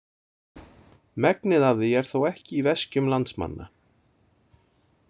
Megnið af því er þó ekki í veskjum landsmanna.